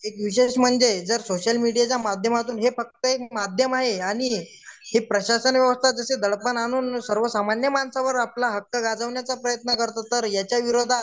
एक विशेष म्हणजे जर सोशल मीडियाच्या माध्यमातून हे फक्त एक माध्यम आहे आणि प्रशासन व्यवस्था दडपण आणून सर्वसामान्य माणसांवर आपलं हक्क गाजवण्याचाप्रयत्न कारतो तर याच्या विरोधात